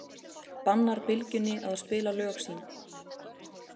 Bannar Bylgjunni að spila lög sín